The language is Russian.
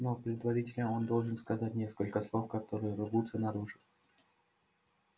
но предварительно он должен сказать несколько слов которые рвутся наружу